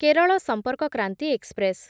Kerala Sampark Kranti express